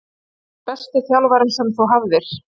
Hver var besti þjálfarinn sem þú hafðir?